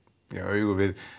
augu við